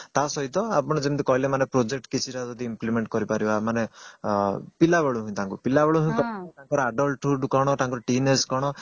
ତା ସହିତ ଆପଣ ଯେମିତି କହିଲେ ଯେମିତି project କିଛିଟା ଯଦି implement କରିପାରିବା ମାନେ ପିଲାବେଳୁ ହିଁ ତାଙ୍କୁ ତାଙ୍କର adult hood କଣ ତାଙ୍କର teen age କଣ